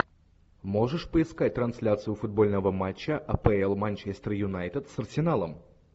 можешь поискать трансляцию футбольного матча апл манчестер юнайтед с арсеналом